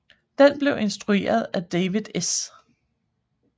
Den blev instrueret af David S